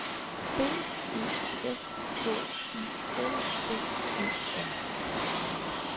B E S K Y L D E R